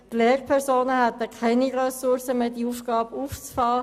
Die Lehrpersonen hätten keine Ressourcen mehr, um diese Aufgabe aufzufangen.